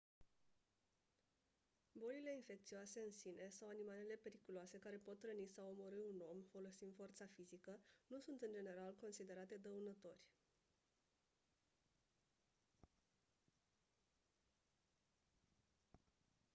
bolile infecțioase în sine sau animalele periculoase care pot răni sau omorî un om folosind forța fizică nu sunt în general considerate dăunători